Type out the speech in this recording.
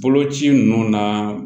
Boloci ninnu na